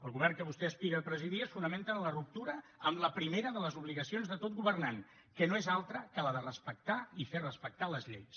el govern que vostè aspira a presidir es fonamenta en la ruptura amb la primera de les obligacions de tot governant que no és altra que la de respectar i fer respectar les lleis